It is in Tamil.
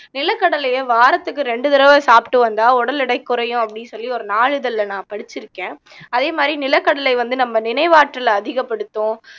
நிலக்கடலையை வாரத்துக்கு ரெண்டு தடவை சாப்பிட்டு வந்தா உடல் எடை குறையும் அப்படின்னு சொல்லி ஒரு நாளிதழ்ல நான் படிச்சிருக்கேன் அதே மாதிரி நிலக்கடலை வந்து நம்ம நினைவாற்றலை அதிகப்படுத்தும்